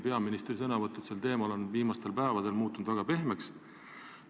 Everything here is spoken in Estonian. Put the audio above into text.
Peaministri sõnavõtud sel teemal on viimastel päevadel muutunud väga pehmeks.